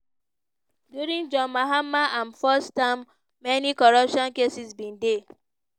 during john mahama im first term many corruption cases bin dey.